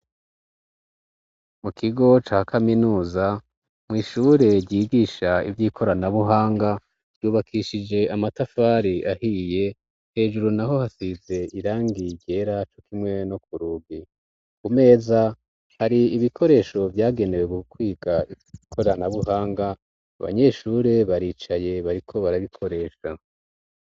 Mu kigo ca kaminuza mw' ishure ryigisha ivy'ikoranabuhanga, ryubakishije amatafari ahiye; hejuru naho hasize irangi ryera, co kimwe no ku rugi. Ku meza hari ibikoresho vyagenewe kwiga ikoranabuhanga abanyeshure baricaye bariko barabikoresha.